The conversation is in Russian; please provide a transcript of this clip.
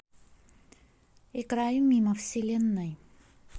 играй мимо вселенной